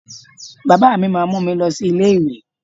Baba mi máa mú mi lọ sí ilé ìwé.